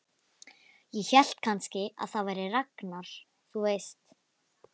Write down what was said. Ég hélt kannski að það væri Ragnar, þú veist.